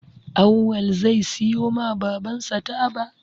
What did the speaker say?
Awwal zai siyo ma baban sa taba